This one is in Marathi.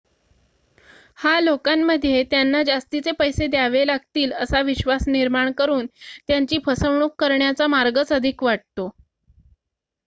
हा लोकांमध्ये त्यांना जास्तीचे पैसे द्यावे लागतील असा विश्वास निर्माण करून त्यांची फसवणूक करण्याचा मार्गच अधिक वाटतो